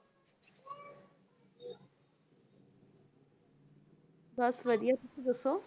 ਬਸ ਵਧੀਆ ਤੁਸੀਂ ਦੱਸੋ?